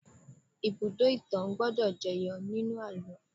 Ibùdó-ìtàn gbọ́dọ̀ jẹyọ nínú àlọ́